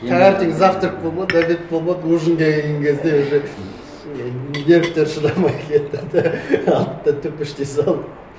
таңертең завтрак болмады обед болмады ужинге келген кезде уже нервтері шыдамай кетті де атты төпештей салды